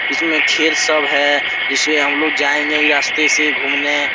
इसमें खेर सब है जिसमें हम लोग जाएंगे ई रास्ते से घूमने।